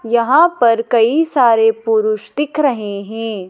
यहां पर कई सारे पुरुष दिख रहे हैं।